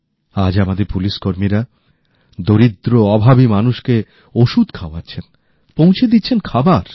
আজ আমাদের পুলিশকর্মীরা দরিদ্র অভাবী মানুষকে ওষুধ খাওয়াচ্ছেন পৌঁছে দিচ্ছেন খাবার